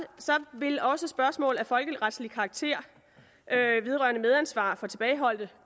vil også spørgsmål af folkeretlig karakter vedrørende medansvar for tilbageholdte